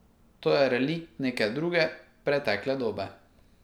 To je relikt neke druge, pretekle dobe.